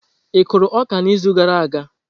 Ị kụrụ ọka n'izu gara aga?